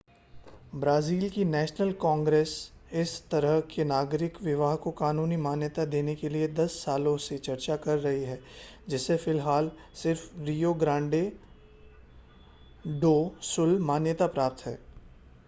Brazil की national congress इस तरह के नागरिक विवाह को कानूनी मान्यता देने के लिए 10 सालों से चर्चा कर रही है जिसे फ़िलहाल सिर्फ़ रियो ग्रांडे डो सुल मान्यता प्राप्त है